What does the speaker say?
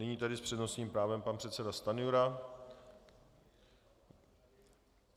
Nyní tedy s přednostním právem pan předseda Stanjura.